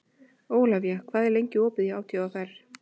Ólafía, hvað er lengi opið í ÁTVR?